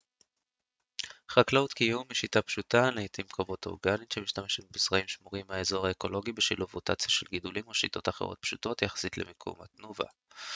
חקלאות קיום היא שיטה פשוטה לעתים קרובות אורגנית שמשתמשת בזרעים שמורים מהאזור האקולוגי בשילוב רוטציה של גידולים או שיטות אחרות פשוטות יחסית למקסום התנובה